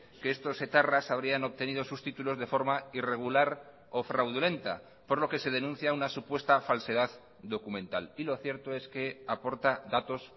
que estos etarras habrían obtenido sus títulos de forma irregular o fraudulenta por lo que se denuncia una supuesta falsedad documental y lo cierto es que aporta datos